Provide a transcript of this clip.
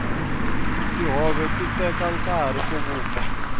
tihove ti teka nkarhi ku vupfa